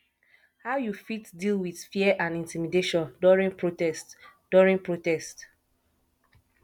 how you fit deal with fear and intimidation during protest during protest